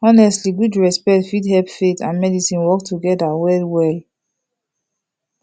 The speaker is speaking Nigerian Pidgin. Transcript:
honestly gud respect fit hep faith and medicine work togeda wellwell